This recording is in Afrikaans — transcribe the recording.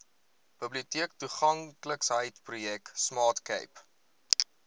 biblioteektoeganklikheidsprojek smart cape